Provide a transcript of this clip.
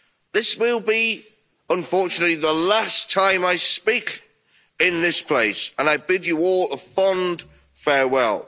This will be, unfortunately, the last time I speak in this place, and I bid you all a fond farewell.